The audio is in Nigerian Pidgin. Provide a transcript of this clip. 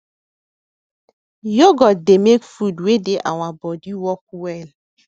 yoghurt dey make food wey dey our body work well